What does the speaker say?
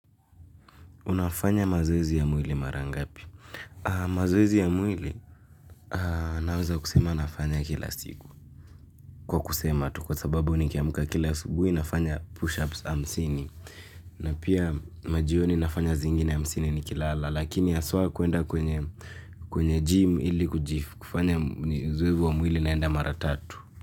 Unafanya mazoezi ya mwili mara ngapi? Mazoezi ya mwili naweza kusema nafanya kila siku. Kwa kusema tu kwa sababu nikiamka kila asubuhi nafanya push-ups hamsini. Na pia majioni nafanya zingine hamsini ni kilala. Lakini haswa kuenda kwenye gym ili kujifu. Kufanya uzoevu wa mwili naenda mara tatu.